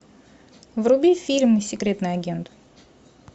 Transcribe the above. вруби фильм секретный агент